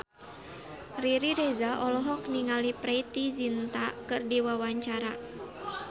Riri Reza olohok ningali Preity Zinta keur diwawancara